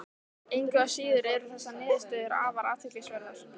Engu að síður eru þessar niðurstöður afar athyglisverðar.